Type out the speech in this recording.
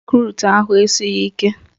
Rekrut ahụ esighị ike